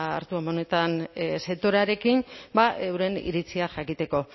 hartu emanetan sektorearekin euren iritziak jakiteko